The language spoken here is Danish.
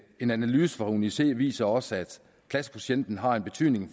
en analyse fra uni c viser også at klassekvotienten har en betydning